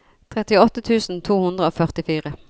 trettiåtte tusen to hundre og førtifire